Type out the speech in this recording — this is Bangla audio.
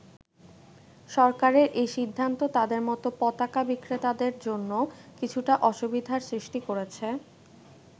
সরকারের এই সিদ্ধান্ত তাদের মতো পতাকা বিক্রেতাদের জন্য কিছুটা অসুবিধার সৃষ্টি করেছে।